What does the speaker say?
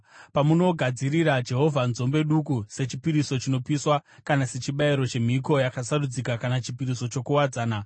“ ‘Pamunogadzirira Jehovha nzombe duku sechipiriso chinopiswa kana sechibayiro, chemhiko yakasarudzika kana chipiriso chokuwadzana,